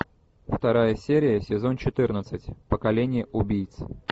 вторая серия сезон четырнадцать поколение убийц